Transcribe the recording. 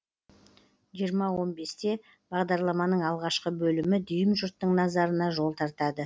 жиырма он бесте бағдарламаның алғашқы бөлімі дүйім жұрттың назарына жол тартады